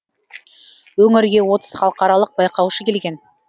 өңірге отыз халықаралық байқаушы келген